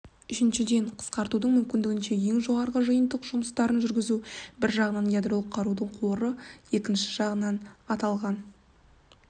үшіншіден қысқартудың мүмкіндігінше ең жоғарғы жиынтық жұмыстарын жүргізу бір жағынан ядролық қарудың қоры екінші жағынан аталған